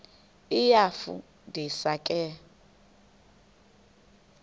iyafu ndisa ke